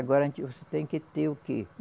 Agora a gente, você tem que ter o que?